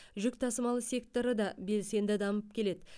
жүк тасымалы секторы да белсенді дамып келеді